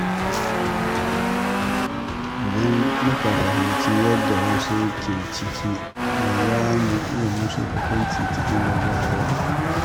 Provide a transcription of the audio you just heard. Idan muka fahimci yadda wasu ke ji, ba za mu yi musu hukunci cikin gaggawa ba.